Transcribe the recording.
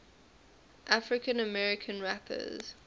african american rappers